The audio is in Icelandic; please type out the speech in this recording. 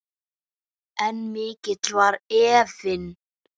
En mikill var efinn.